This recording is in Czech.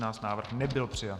Návrh nebyl přijat.